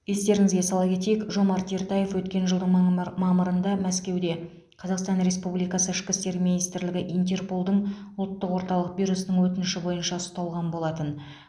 естеріңізге сала кетейік жомарт ертаев өткен жылдың маммыр мамырында мәскеуде қазақстан республикасы ішкі істер министрлігі интерполдың ұлттық орталық бюросының өтініші бойынша ұсталған болатын